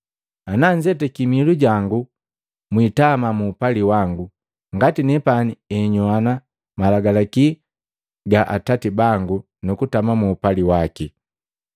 Ana nzetaki miilu jangu mwiitama muupali wangu, ngati nepani henyoani malagalaki ya Atati bangu nukutama mu upali waki.”